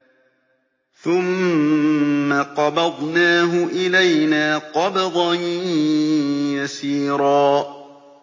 ثُمَّ قَبَضْنَاهُ إِلَيْنَا قَبْضًا يَسِيرًا